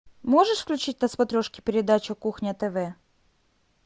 можешь включить на смотрешке передачу кухня тв